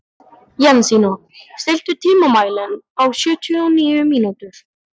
Jensína, stilltu tímamælinn á sjötíu og níu mínútur.